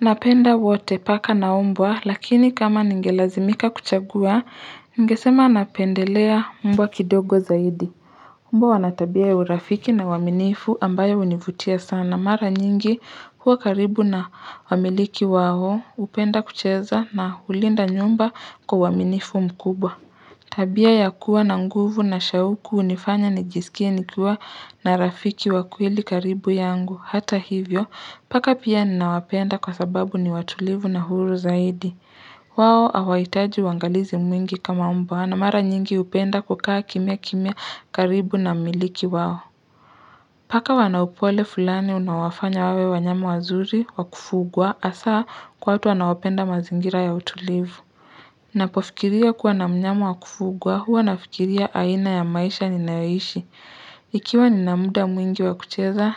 Napenda wote paka na mbwa lakini kama ningelazimika kuchagua ningesema napendelea mbwa kidogo zaidi Mbwa wana tabia ya urafiki na uwaminifu ambayo univutia sana mara nyingi huwa karibu na wamiliki wao upenda kucheza na ulinda nyumba kwa uwaminifu mkubwa Tabia ya kuwa na nguvu na shauku unifanya nijisikie nikiwa na rafiki wa kweli karibu yangu hata hivyo paka pia ninawapenda kwa sababu ni watulivu na huru zaidi wao awaitaji uangalizi mwingi kama mbwa na mara nyingi upenda kukaa kimya kimya karibu na mmiliki wao Paka wana upole fulani unaowafanya wawe wanyama wazuri wa kufugwa hasaa kwatu wanaopenda mazingira ya utulivu Napofikiria kuwa na mnyama wa kufugwa huwa nafikiria aina ya maisha ninayoishi Ikiwa ninamuda mwingi wa kucheza